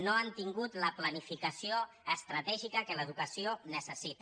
no han tingut la planificació estratègica que l’educació necessita